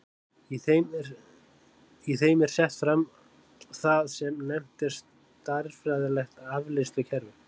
Í þeim er sett fram það sem nefnt er stærðfræðilegt afleiðslukerfi.